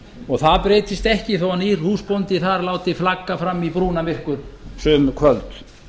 og það breytist ekki þó nýr húsbóndi láti flagga þar fram í brúnamyrkur sum kvöld